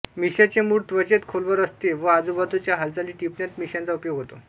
मिश्यांचे मूळ त्वचेत खोलवर असते व आजूबाजूच्या हालचाली टिपण्यात मिशांचा उपयोग होतो